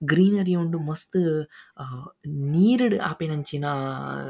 greenery ಉಂಡು ಆ ಮಸ್ತ್ ನೀರ್ ಡ್ ಆಪಿನಂಚಿನ--